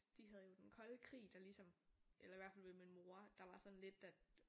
De havde jo den kolde krig der ligesom eller i hvert fald med min mor der var sådan lidt at